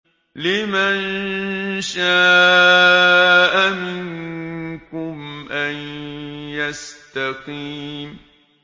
لِمَن شَاءَ مِنكُمْ أَن يَسْتَقِيمَ